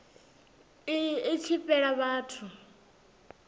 iyi i tshi fhela vhathu